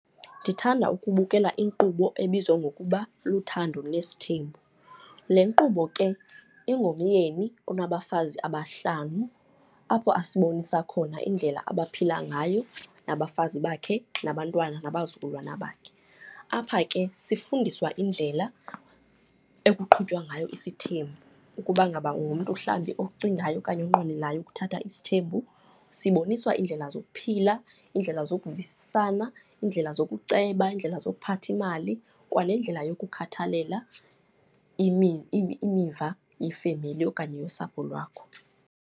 Ndithanda ukubukela inkqubo ebizwa ngokuba Luthando Nesithembiso. Le nkqubo ke ingomyeni onabafazi abahlanu, apho abasibonisa khona indlela abaphila ngayo nabafazi bakhe, nabantwana, nabazukulwana bakhe. Apha ke sifundiswa indlela ekuqhutywa ngayo isithembu, ukuba ngaba ungumntu mhlawumbi ocingayo okanye onqwenelayo ukuthatha isithembu. Siboniswa iindlela zokuphila, iindlela zokuvisisana, iindlela zokuceba, iindlela zokuphatha imali, kwanendlela yokukhathalela imiva yefemeli okanye yosapho lwakho.